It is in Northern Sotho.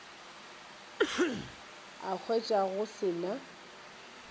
a hwetša go se na